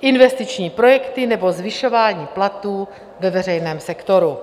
investiční projekty nebo zvyšování platů ve veřejném sektoru.